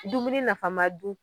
dumuni nafama dun